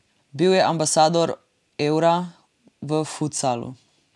Bil je ambasador Eura v futsalu.